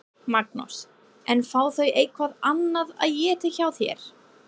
Magnús: En fá þau eitthvað annað að éta hjá þér?